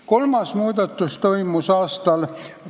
Kolmas muudatus toimus aastal ...